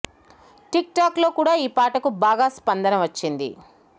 tick talk లో కూడా ఈ పాటకు బాగా స్పందన వచ్చింది